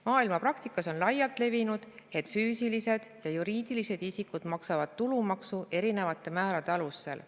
Maailmapraktikas on laialt levinud, et füüsilised ja juriidilised isikud maksavad tulumaksu erinevate määrade alusel.